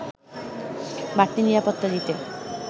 বাড়তি নিরাপত্তা দিতে